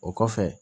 O kɔfɛ